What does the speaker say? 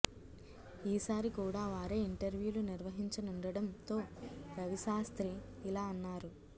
ఈ సారికూడా వారే ఇంటర్వ్యూ లు నిర్వహించనుండడంతో రవిశాస్త్రి ఇలా అన్నారు